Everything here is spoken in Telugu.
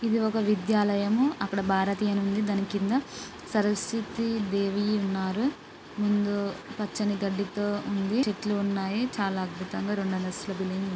ఇది ఒక విద్యాలయము. అక్కడ భారతి అని ఉంది దాని కింద సరస్వతి దేవి ఉన్నారు ముందు పచ్చని గడ్డితో ఉంది చెట్లు ఉన్నాయి. చాలా అద్భుతంగా రెండు అంతస్తుల బిల్డింగ్ --